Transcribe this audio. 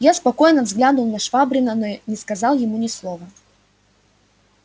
я спокойно взглянул на швабрина но не сказал ему ни слова